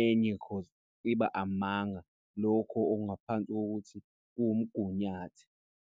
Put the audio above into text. enye because iba amanga lokho okungaphansi kokuthi kuwumgunyathi.